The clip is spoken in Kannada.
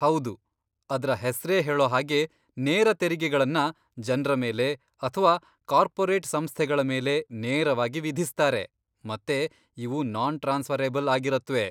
ಹೌದು, ಅದ್ರ ಹೆಸ್ರೇ ಹೇಳೋಹಾಗೆ ನೇರ ತೆರಿಗೆಗಳನ್ನ ಜನ್ರ ಮೇಲೆ ಅಥ್ವಾ ಕಾರ್ಪೋರೇಟ್ ಸಂಸ್ಥೆಗಳ ಮೇಲೆ ನೇರವಾಗಿ ವಿಧಿಸ್ತಾರೆ ಮತ್ತೆ ಇವು ನಾನ್ ಟ್ರಾನ್ಸಫರಬಲ್ ಆಗಿರತ್ವೆ.